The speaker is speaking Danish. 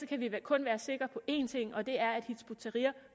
kan vi kun være sikre på én ting og det er at hizb ut tahrir